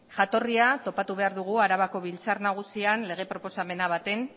jatorria topatu behar dugu arabako biltzar nagusian lege proposamen batean